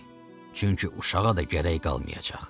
Çünki uşağa da gərək qalmayacaq.